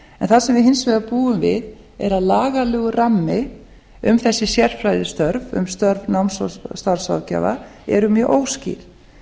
en það sem við hins vegar búum við er að lagalegur rammi um þessi sérfræðistörf um störf náms og starfsráðgjafa eru mjög óskýr